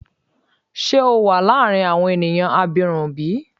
Ṣe o wa laarin awọn eniyan abirun bi?